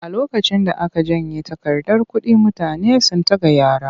A lokacin da aka janye takardar kuɗi mutane sun tagayyara.